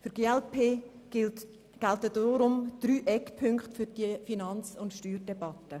Für die glp gelten deshalb drei Eckpunkte für die Finanz- und Steuerdebatte.